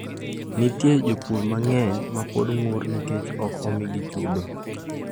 Nitie jopur mang’eny ma pod ng’ur nikech ok omigi chudo.